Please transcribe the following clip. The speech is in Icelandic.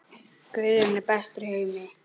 Guðjón lagði áherslu á ljóðin.